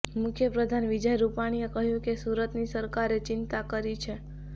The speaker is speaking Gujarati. મુખ્યપ્રધાન વિજય રૂપાણીએ કહ્યું કે સુરતની સરકારે ચિંતા કરી છે